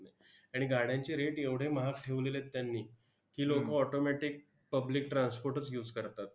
आणि गाड्यांचे rate एवढे महाग ठेवलेले आहेत त्यांनी की, लोकं automatic public transport च use करतात.